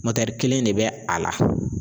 kelen de bɛ a la.